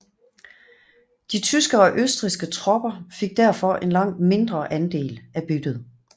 De tyske og østrigske tropper fik derfor en langt mindre andel af byttet